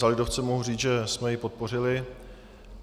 Za lidovce mohu říci, že jsme jej podpořili.